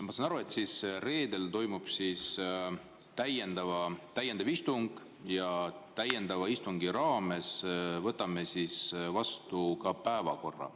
Ma saan aru, et reedel toimub täiendav istung ja täiendava istungi raames võtame vastu ka päevakorra.